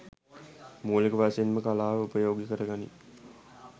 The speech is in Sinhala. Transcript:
මූලික වශයෙන්ම කලාව උපයෝගි කර ගනියි